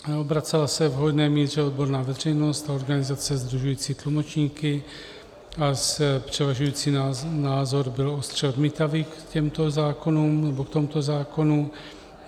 Obracela se v hojné míře odborná veřejnost a organizace sdružující tlumočníky a převažující názor byl ostře odmítavý k tomuto zákonu.